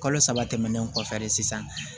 Kalo saba tɛmɛnen kɔfɛ de sisan